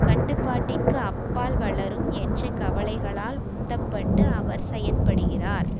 கட்டுப்பாட்டிற்கு அப்பால் வளரும் என்ற கவலைகளால் உந்தப்பட்டு அவர் செயற்படுகிறார்